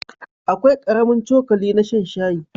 Akwai ƙaramin cokali na shan shayi.